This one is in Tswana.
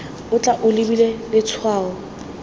o tla o lebile letshwao